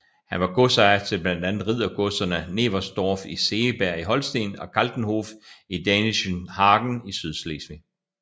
Han var godsejer til blandt andet riddergodserne Neversdorf i Segeberg i Holsten og Kaltenhof i Dänischenhagen i Sydslesvig